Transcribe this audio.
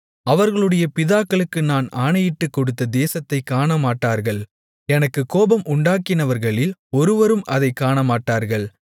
அவர்களுடைய பிதாக்களுக்கு நான் ஆணையிட்டுக்கொடுத்த தேசத்தைக் காணமாட்டார்கள் எனக்குக் கோபம் உண்டாக்கினவர்களில் ஒருவரும் அதைக் காணமாட்டார்கள்